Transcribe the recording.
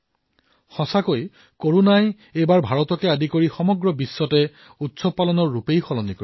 প্ৰকৃততেই corona এইবাৰ ভাৰতসহিতে সমগ্ৰ বিশ্বতে উৎসৱ পালন কৰাৰ স্বৰূপ পৰিৱৰ্তন কৰি পেলাইছে